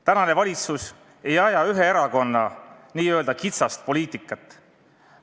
Tänane valitsus ei aja ühe erakonna n-ö kitsast poliitikat.